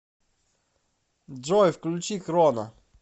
джой включи хроно